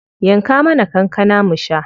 Yanka mana kankana mu sha.